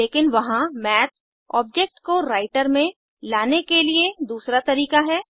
लेकिन वहां math object को राइटर में लाने के लिए दूसरा तरीका है